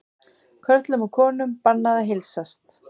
Körlum og konum bannað að heilsast